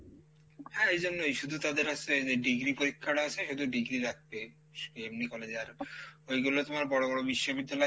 হ্যাঁ এইজন্যই শুধু তাদের আসে এইযে degree পরীক্ষাটা আসে শুধু degree রাখবে এমনি college এ আর ঐগুলো তোমার বড়ো বড়ো বিশ্ববিদ্যালয়,